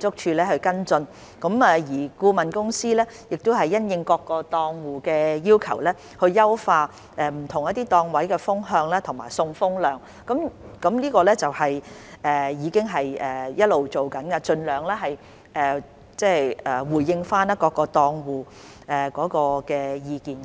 築署跟進，而顧問公司亦已因應各個檔戶的要求，優化不同檔位的風向和送風量，這些工作一直在進行，以盡量回應各個檔戶的意見。